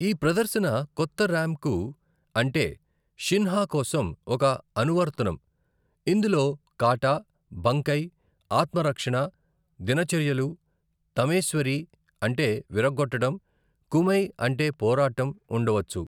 ఈ ప్రదర్శన కొత్త ర్యాంకు అంటే షిన్సా కోసం ఒక అనువర్తనం, ఇందులో కాటా, బంకై, ఆత్మరక్షణ, దినచర్యలు, తమేశ్వరి అంటే విరగ్గొట్టడం, కుమై అంటే పోరాటం ఉండవచ్చు.